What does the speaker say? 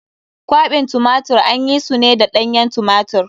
Kwaɓin tumatirin an yi su ne da ɗanyen tumatir.